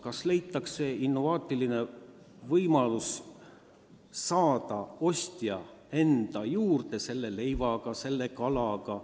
Vahest leitakse innovaatiline võimalus meelitada ostjad enda juurde näiteks suurepärase leiva või kalaga.